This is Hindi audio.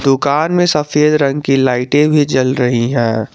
दुकान में सफेद रंग की लाइटे भी जल रही है।